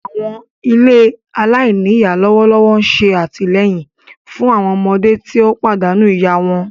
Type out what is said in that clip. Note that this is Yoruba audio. Àwọn ilé alainíyá lọwọlọwọ n ṣe àtìleyìn fun àwọn ọmọdé ti o pàdánù ìyá wọn.